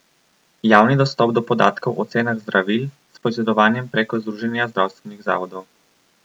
Javni dostop do podatkov o cenah zdravil s poizvedovanjem preko združenja zdravstvenih zavodov.